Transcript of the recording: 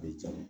A bɛ ja